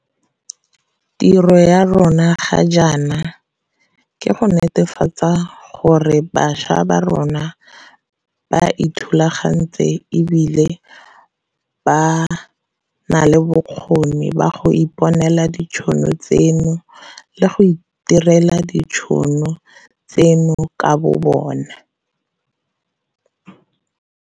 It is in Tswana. Tiro ya rona ga jaana ke go netefatsa gore bašwa ba ithulagantse e bile ba na le bokgoni jwa go iponela ditšhono tseno le go itirela ditšhono tseno ka bobona.